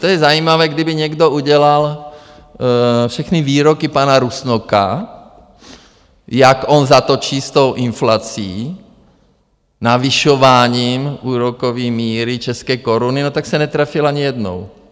To je zajímavé, kdyby někdo udělal všechny výroky pana Rusnoka, jak on zatočí s tou inflací navyšováním úrokové míry české koruny, no tak se netrefil ani jednou.